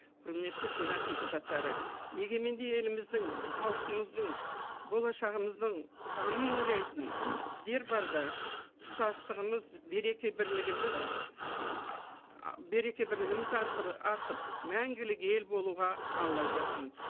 құрметті сенат депутаттары егеменді еліміздің халқымыздың болашағымыздың қамын ойлайтын сіздер барда тұтастығымыз береке бірлігіміз береке бірлігіміз артып мәңгілік ел болуға алла жазсын